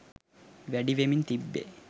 වැඩිවෙමින් තිබේ